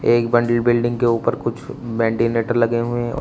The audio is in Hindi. एक बड़ी बिल्डिंग के ऊपर कुछ मेडिलेटर लगे हुए हैं।